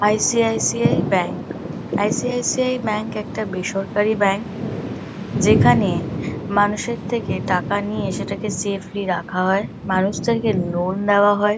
ICICI. Bank. ICICI .bank -একটা বেসরকারি bank যেখানে মানুষের থেকে টাকা নিয়ে সেটাকে সেফলি রাখা হয়। মানুষদেরকে লোন -দেওয়া হয়।